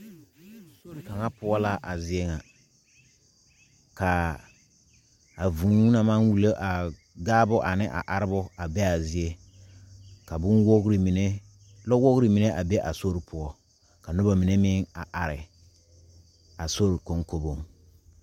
sori kaŋa poɔ la a zie ŋa kaa vūū na maŋ wulo a gaabo ane a arebo a be a zie ka bonwogiri lɔ wogri a be a sori ka noba mine meŋ be a sori kɔŋkɔgiri poɔ